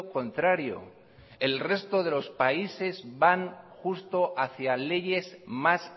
contrario el resto de los países van justo hacia leyes más